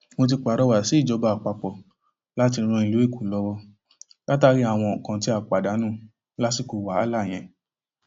mo ti pàrọwà sí ìjọba àpapọ láti ran ìlú èkó lọwọ látàrí àwọn nǹkan tá a pàdánù lásìkò wàhálà yẹn